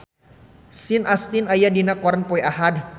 Sean Astin aya dina koran poe Ahad